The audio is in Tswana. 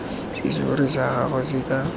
serori sa gago se ka